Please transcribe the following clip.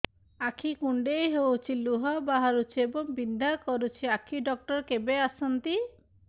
ଆଖି କୁଣ୍ଡେଇ ହେଉଛି ଲୁହ ବହୁଛି ଏବଂ ବିନ୍ଧା କରୁଛି ଆଖି ଡକ୍ଟର କେବେ ଆସନ୍ତି